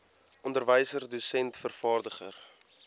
onderwyser dosent vervaardiger